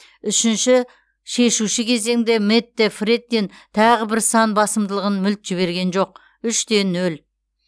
үшінші шешуші кезеңде мэтт фрэттин тағы бір сан басымдылығын мүлт жіберген жоқ үш те нөл